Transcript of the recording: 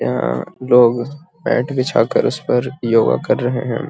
यहाँ लोग मैट बिछा कर उस पर योग कर रहे हैं |